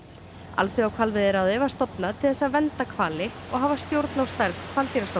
Alþjóðahvalveiðiráðið var stofnað til þess að vernda hvali og hafa stjórn á stærð